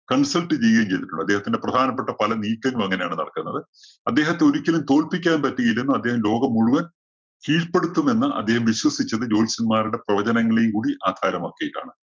consult ചെയ്യുകയും ചെയ്തിട്ടുണ്ട്. അദ്ദേഹത്തിന്റെ പ്രധാനപ്പെട്ട പല നീക്കങ്ങളും അങ്ങനെയാണ് നടക്കുന്നത്. അദ്ദേഹത്ത ഒരിക്കലും തോൽപ്പിക്കാൻ പറ്റുകയില്ലെന്നും, അദ്ദേഹം ലോകം മുഴുവന്‍ കീഴ്പ്പെടുത്തുമെന്ന് അദ്ദേഹം വിശ്വസിച്ചത് ജ്യോത്സ്യന്മാരുടെ പ്രവചനങ്ങളെയും കൂടി ആധാരമാക്കിയിട്ടാണ്.